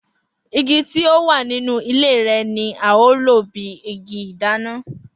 Igi tí ó wà nínú ilé rẹ̀ ni a ó lò bí igi ìdáná.